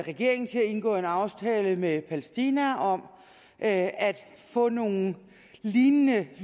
regeringen til at indgå en aftale med palæstina om at få nogle lignende